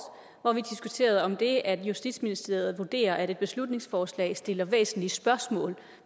hvor vi diskuterede om det at justitsministeriet vurderer at et beslutningsforslag stiller væsentlige spørgsmål